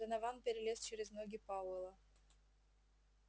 донован перелез через ноги пауэлла